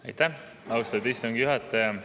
Aitäh, austatud istungi juhataja!